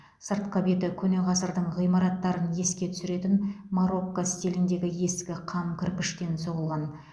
сыртқы беті көне ғасырдың ғимараттарын еске түсіретін марокко стиліндегі ескі қам кірпіштен соғылған